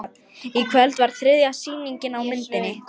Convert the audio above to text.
Í kvöld var þriðja sýning á myndinni